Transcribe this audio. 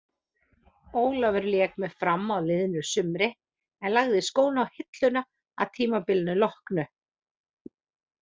Ólafur lék með Fram á liðnu sumri en lagði skóna á hilluna að tímabilinu loknu.